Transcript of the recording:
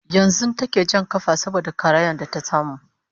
yanzun take Jan kafa saboda karayan da ta samu